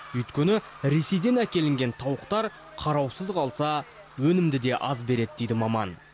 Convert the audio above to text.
өйткені ресейден әкелінген тауықтар қараусыз қалса өнімді де аз береді дейді маман